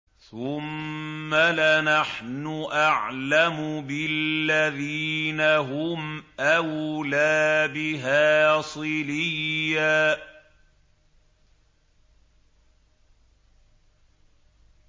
ثُمَّ لَنَحْنُ أَعْلَمُ بِالَّذِينَ هُمْ أَوْلَىٰ بِهَا صِلِيًّا